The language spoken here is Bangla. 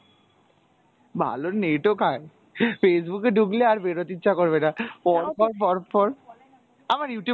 ভালো net ও খায়, Facebook এ ঢুকলে আর বেরোতে ইচ্ছে করবেনা, পরপর, পরপর, আমার Youtube